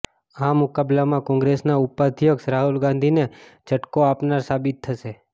આ મુકાબલામાં કોંગ્રેસના ઉપાધ્યક્ષ રાહુલ ગાંધીને ઝટકો આપનાર સાબિત થશે